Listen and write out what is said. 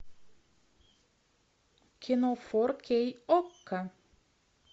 кино фор кей окко